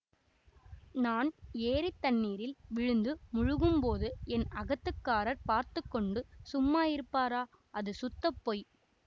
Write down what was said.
நான் ஏரித் தண்ணீரில் விழுந்து முழுகும்போது என் அகத்துக்காரர் பார்த்து கொண்டு சும்மா இருப்பாரா அது சுத்தப்பொய்